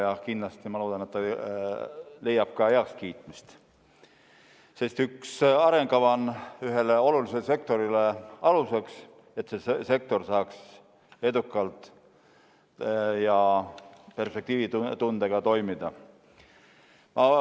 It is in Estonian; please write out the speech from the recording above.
Ja kindlasti ma loodan, et see leiab ka heakskiitmist, sest arengukava on ühele olulisele sektorile aluseks, et see sektor saaks edukalt ja perspektiivitundega toimida.